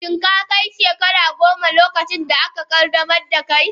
Shin ka kai shekara goma, lokacin da aka qaddamar da kai?